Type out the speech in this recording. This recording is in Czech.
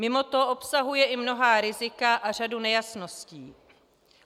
Mimo to obsahuje i mnohá rizika a řadu nejasností.